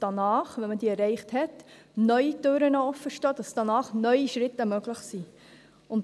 Nachdem diese erreicht werden, stehen neue Türen offen, sodass danach neue Schritte möglich sind.